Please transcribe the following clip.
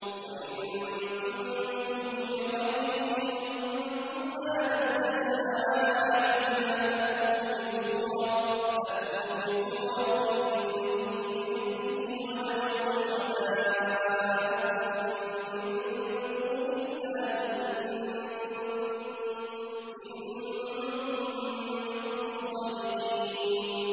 وَإِن كُنتُمْ فِي رَيْبٍ مِّمَّا نَزَّلْنَا عَلَىٰ عَبْدِنَا فَأْتُوا بِسُورَةٍ مِّن مِّثْلِهِ وَادْعُوا شُهَدَاءَكُم مِّن دُونِ اللَّهِ إِن كُنتُمْ صَادِقِينَ